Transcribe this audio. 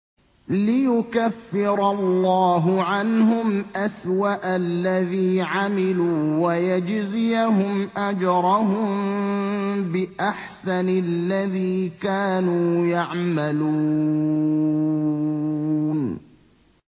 لِيُكَفِّرَ اللَّهُ عَنْهُمْ أَسْوَأَ الَّذِي عَمِلُوا وَيَجْزِيَهُمْ أَجْرَهُم بِأَحْسَنِ الَّذِي كَانُوا يَعْمَلُونَ